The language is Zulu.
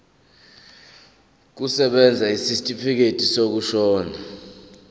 kusebenza isitifikedi sokushona